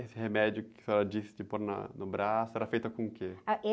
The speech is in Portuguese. Esse remédio que a senhora disse de pôr na, no braço, era feita com o quê?h, êh